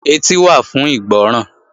Etí wà fún ìgbọ́ràn